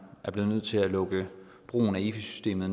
er blevet nødt til at lukke brugen af efi systemet